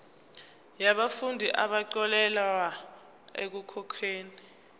yabafundi abaxolelwa ekukhokheni